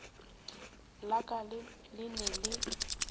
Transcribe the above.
la ka le ne le